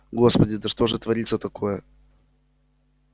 господи да что же творится такое